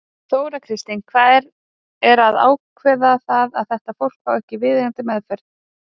Þóra Kristín: Hver er að ákveða það að þetta fólk fái ekki viðeigandi meðferð?